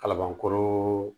Kalabankɔrɔ